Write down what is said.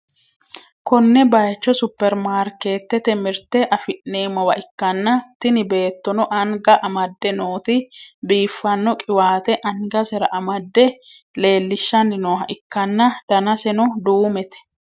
konne bayicho supperimaarikeetete mirte afi'neemmowa ikkanna, tini beettono anga amadde nooti biiffanno qiwaate angasera amadde leellishshanni nooha ikkanan, danaseno duumete.